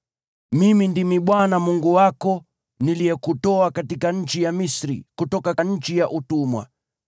“Mimi ndimi Bwana Mungu wako, niliyekutoa katika nchi ya Misri, kutoka nchi ya utumwa.